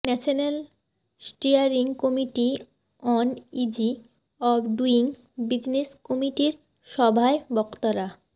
national steering committee on easy of doing business কমিটির সভায় বক্তারা